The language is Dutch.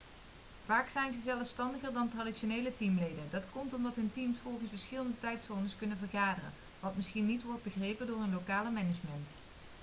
vaak zijn ze zelfstandiger dan traditionele teamleden dat komt omdat hun teams volgens verschillende tijdzones kunnen vergaderen wat misschien niet worden begrepen door hun lokale management